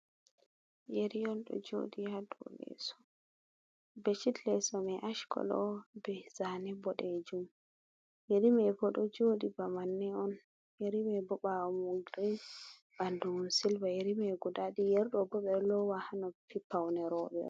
Ƴeri on ɗo joɗi hado leso, beshit leso man ash kolo on be zani boɗe jum, ƴerimai bo do joɗi ba manne on, yerima bo bawo mai girin, ɓandu mai silva yeri mai guda ɗiɗi yeri ɗobo beɗo lowa hanoppi paune roɓe on.